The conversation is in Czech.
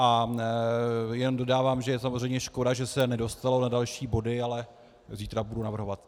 A jen dodávám, že je samozřejmě škoda, že se nedostalo na další body, ale zítra budu navrhovat.